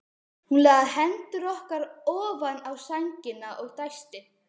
Hún lagði hendurnar ofan á sængina og dæsti.